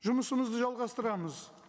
жұмысымызды жалғастырамыз